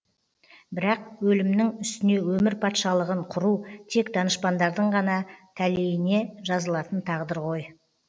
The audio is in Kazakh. бірақ өлімнің үстіне өмір патшалығын құру тек данышпандардың ғана тәлейіне жазылатын тағдыр ғой